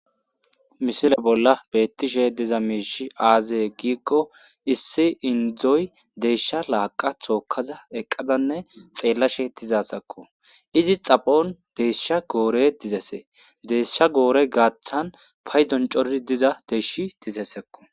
Missile bola betishe diza miishshi aaze gikko issi indoy desha laaqa tokaza eqazanne xellashe dizayisakko izi xaphon desha gore dizesi desha gore gatan payiddon coriza deshi dizesikko.